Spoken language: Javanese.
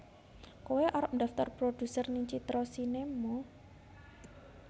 Koe arep ndaftar produser ning Citra Sinema